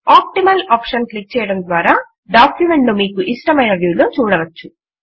optimal option click చేయడము ద్వారా document ను మీకు ఇష్టమైన వ్యూ లో చూడవచ్చు